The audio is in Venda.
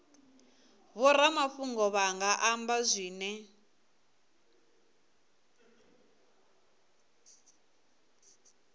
vhoramafhungo vha nga amba zwine